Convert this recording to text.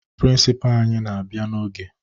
Prịnsịpaa anyị na-abịa n'oge